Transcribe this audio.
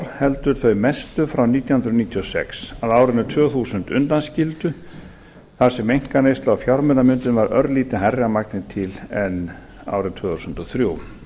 heldur þau mestu frá nítján hundruð níutíu og sex að árinu tvö þúsund undanskildu þar sem einkaneysla og fjármunamyndun var örlítið hærri að magni til en árið tvö þúsund og þrjú